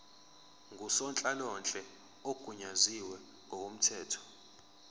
ngusonhlalonhle ogunyaziwe ngokomthetho